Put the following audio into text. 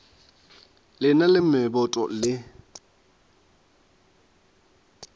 le na le meboto le